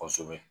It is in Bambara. Kosɛbɛ